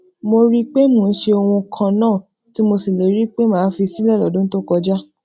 mo rí i pé mo ń ṣe ohun kan náà tí mo ṣèlérí pé màá fi sílè lódún tó kọjá